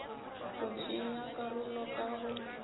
go tšea karolo ka go